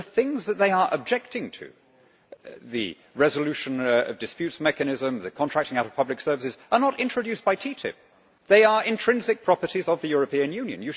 The things that they are objecting to the resolution of disputes mechanism, the contracting out of public services are not introduced by TTIP they are intrinsic properties of the European Union.